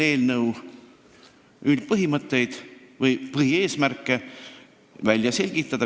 See on üks eelnõu põhilisi seisukohti või eesmärke.